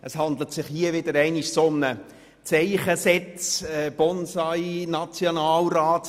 Es handelt sich hier wieder einmal um eine «ZeichensetzAktion von Bonsai-Nationalräten».